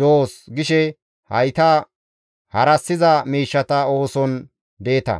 doos!› gishe hayta harassiza miishshata ooson deeta.